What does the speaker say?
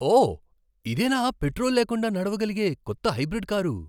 ఓ! ఇదేనా పెట్రోల్ లేకుండా నడవగలిగే కొత్త హైబ్రిడ్ కారు?